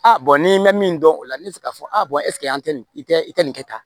A ni bɛ min dɔn o la ne bɛ se k'a fɔ a bɔn ɛseke an tɛ nin kɛ i tɛ nin kɛ tan